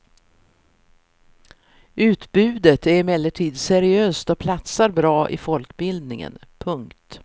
Utbudet är emellertid seriöst och platsar bra i folkbildningen. punkt